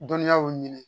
Dɔnniyaw ɲini